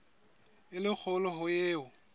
e le kgolo ho eo